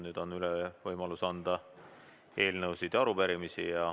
Nüüd on võimalus üle anda eelnõusid ja arupärimisi.